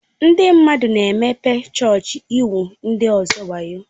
Ndị mmadụ na-emepe chọọchị igwu ndị ọzọ wayo.